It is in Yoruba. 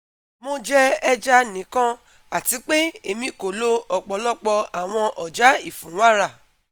Mo jẹ ẹja nikan ati pe emi ko lo ọpọlọpọ awọn ọja ifunwara